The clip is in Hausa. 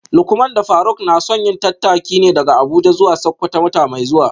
Lukman da Faruk na son yin tattaki ne daga Abuja zuwa Sakkwato wata mai zuwa